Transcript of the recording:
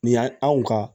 Nin yan anw ka